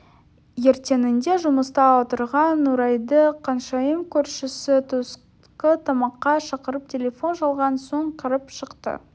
ертеңінде жұмыста отырған нұрайды қаншайым көршісі түскі тамаққа шақырып телефон шалған соң кіріп шықты